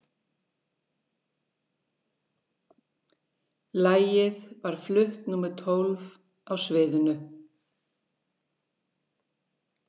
Lagið var flutt númer tólf á sviðinu.